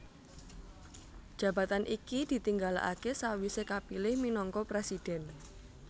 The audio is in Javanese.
Jabatan iki ditinggalaké sawisé kapilih minangka presidhèn